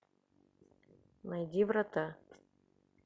найди врата